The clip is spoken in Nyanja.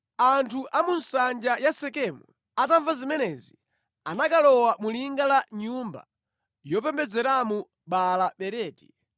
Anthu a mu nsanja ya Sekemu atamva zimenezi, anakalowa mu linga la nyumba yopembedzeramo Baala-Beriti.